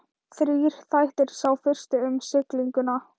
Þrír þættir, sá fyrsti um siglinguna.